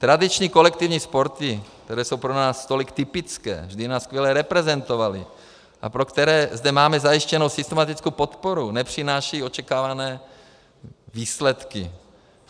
Tradiční kolektivní sporty, které jsou pro nás tolik typické, vždy nás skvěle reprezentovaly a pro které zde máme zajištěnou systematickou podporu, nepřinášejí očekávané výsledky.